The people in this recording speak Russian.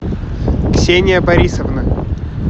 ксения борисовна